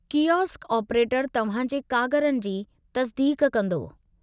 Kiosk ऑपरेटरु तव्हां जे कागरनि जी तस्दीक़ कंदो।